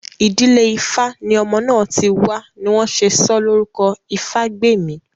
Ìdílé ifá ní ọmọ náà ti wá ni wọ́n ṣe sọ́ Lórúkọ ìfágbèmí